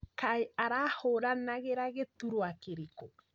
Kaĩ arahũranagĩra gĩturwa kĩrĩkũ?